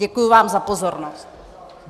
Děkuji vám za pozornost.